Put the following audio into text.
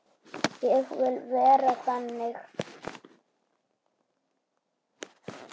Ég vil vera þannig.